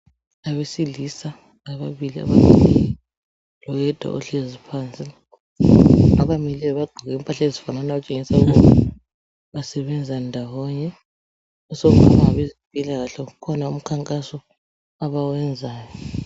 Abesilisa ababili abamileyo loyedwa ohlezi phansi. Abamileyo bagqoke impahla ezifananayo okutshengisa ukuba basebenza ndawonye sokungaba ngabezempilakahle kukhona umkhankaso abawenzayo.